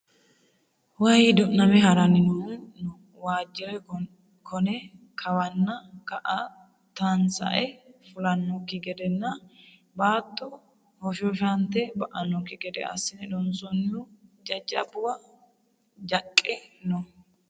Waayi du'name harani noohu no waajire kone kawanna ka"a tansae fulanokki gedenna baatto hoshoshate ba"anokki gede assine loonsonihu jajjabbuwa jaqqe no.